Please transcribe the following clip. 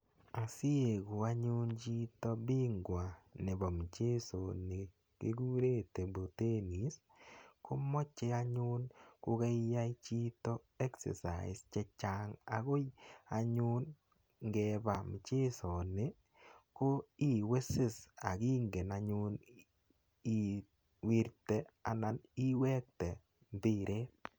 Asiieku anyun chito bingwa nepo mchesoni kikure table tennis ko mache anyun ko kaiyai chito exercise che chang' akoi anyun ngepa mchesoni ko iwisis ako ingen anyun iwirte anan iwekte mbiret.